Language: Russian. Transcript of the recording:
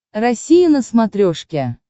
россия на смотрешке